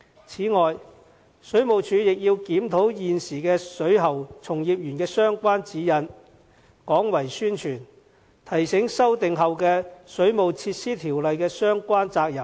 此外，水務署亦要檢討現時水喉從業員的相關指引，廣為宣傳，提醒修訂後的《水務設施條例》的相關責任。